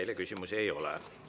Teile küsimusi ei ole.